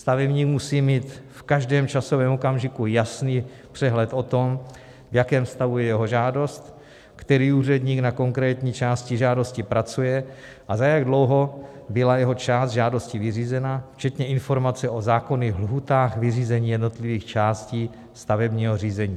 Stavebník musí mít v každém časovém okamžiku jasný přehled o tom, v jakém stavu je jeho žádost, který úředník na konkrétní části žádosti pracuje a za jak dlouho byla jeho část žádosti vyřízena, včetně informace o zákonných lhůtách vyřízení jednotlivých částí stavebního řízení.